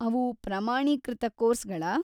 ಅವು ಪ್ರಮಾಣೀಕೃತ ಕೋರ್ಸ್‌ಗಳಾ?